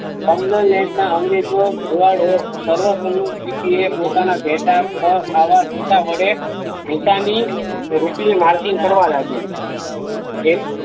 અંગ્રેજો સાર્વજનિક રીતે પોતા ના ભેગા છ સિક્કા વડે નીસાની રૂપિયેએ માર્કિંગ કરવા લાગ્ય જેથી